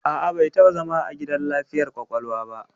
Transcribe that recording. A'a, bai taɓa zama a gidan lafiyar ƙwaƙwalwa ba.